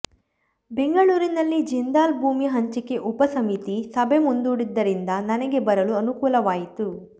ಬೆಂಗಳೂರಿನಲ್ಲಿ ಜಿಂದಾಲ್ ಭೂಮಿ ಹಂಚಿಕೆ ಉಪಸಮಿತಿ ಸಭೆ ಮುಂದೂಡಿದ್ದರಿಂದ ನನಗೆ ಬರಲು ಅನುಕೂಲವಾಯಿತು